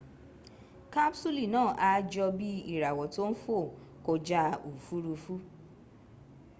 kapsuli naa a jo bii irawo to n fo koja ofurufu